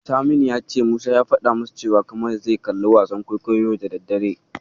Saminu ya ce Musa ya faɗa masa cewa Kamal zai kalli wasan kwaikwayo yau da daddare.